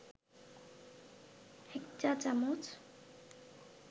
১ চা-চামচ